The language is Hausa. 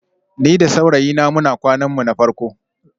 Ni da saurayina muna kwanan mu na farko